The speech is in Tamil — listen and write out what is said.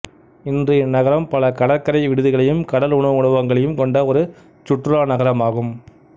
இன்று இந்நகரம் பல கடற்கரை விடுதிகளையும் கடல் உணவு உணவகங்களையும் கொண்ட ஒரு சுற்றுலா நகரமாகும்